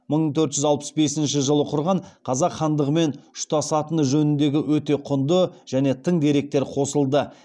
мың төрт жүз алпыс бесінші жылы құрған қазақ хандығымен ұштасатыны жөніндегі өте құнды және тың деректер қосылды